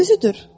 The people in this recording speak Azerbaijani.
Özüdür.